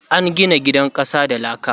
An gina gidan ƙasa da laka